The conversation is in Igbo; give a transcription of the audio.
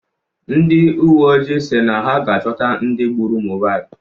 Ndị uwe ojii si na ha ga-achọta ndị gbụrụ Mohbad